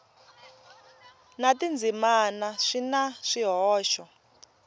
na tindzimana swi na swihoxo